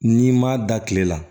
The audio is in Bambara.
N'i ma da kile la